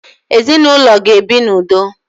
Ezinụlọ ga ebi na udo